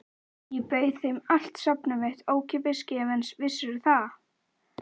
Ég bauð þeim allt safnið mitt, ókeypis, gefins, vissirðu það?